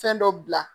Fɛn dɔ bila